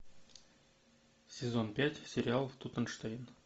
сезон пять сериал тутенштейн